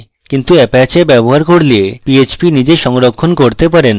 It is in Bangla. কিন্তু apache ব্যবহার করলে php নিজে সংরক্ষণ করতে পারেন